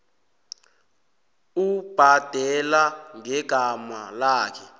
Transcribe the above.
ubhadela ngegama lakhe